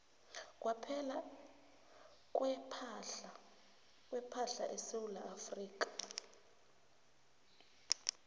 kwepahla esewula afrika